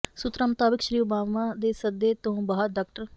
ਸੂਤਰਾਂ ਮੁਤਾਬਕ ਸ੍ਰੀ ਓਬਾਮਾ ਦੇ ਸੱਦੇ ਤੋਂ ਬਾਅਦ ਡਾ